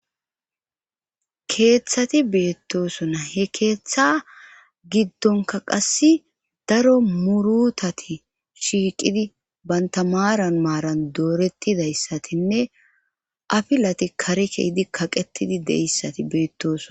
keeththati beettosona he keeththa giddonka qass daro murutati shiiqidi bantamaaran maaran doorettidayssatinne afilati kareke hidi kaqetidi deissati beettoson